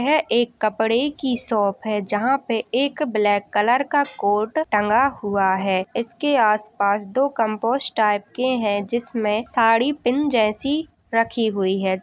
एक कपड़े की शॉप है जहां पे एक ब्लैक कलर का कोट टंगा हुआ है | इसके आस-पास दो कम्पोस टाइप के हैं जिसमे साड़ी पिन जैसी रखी हुई हैं ।